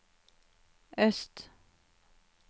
øst